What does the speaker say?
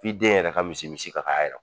F'i den yɛrɛ ka misi-misi ka k'a yɛrɔ